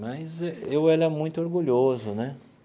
Mas eu era muito orgulhoso né.